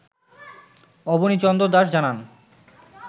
অবনী চন্দ্র দাশ জানান